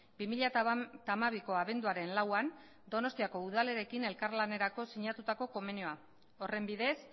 bi mila hamabiko abenduaren lauan donostiako udalarekin elkarlanerako sinatutako konbenioa horren bidez